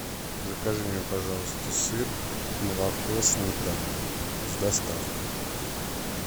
закажи мне пожалуйста сыр молоко сметану с доставкой